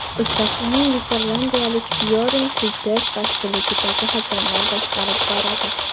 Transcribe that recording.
Uchrashuvni niderlandiyalik Byorn Kuypers boshchiligidagi hakamlar boshqarib boradi.